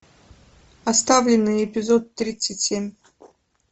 оставленные эпизод тридцать семь